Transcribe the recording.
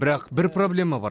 бірақ бір проблема бар